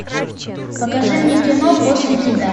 покажи мне кино после тебя